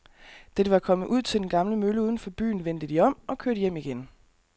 Da de var kommet ud til den gamle mølle uden for byen, vendte de om og kørte hjem igen.